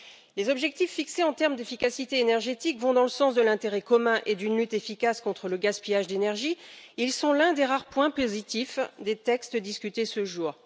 Les objectifs d'efficacité énergétique vont dans le sens de l'intérêt commun et d'une lutte efficace contre le gaspillage d'énergie, ils sont l'un des rares points positifs des textes discutés ce jour.